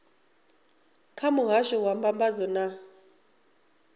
kha muhasho wa mbambadzo na